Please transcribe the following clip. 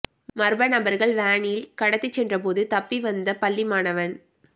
மர்ம நபர்கள் வேனில் கடத்திச் சென்றபோது தப்பி வந்த பள்ளி மாணவன்